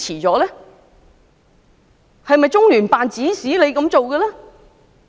是否中聯辦指使他們這樣做？